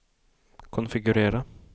konfigurera